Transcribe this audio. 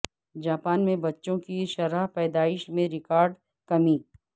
Japan میں بچوں کی شرح پیدائش میں ریکارڈ کمی